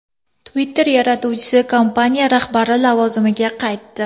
Twitter yaratuvchisi kompaniya rahbari lavozimiga qaytdi.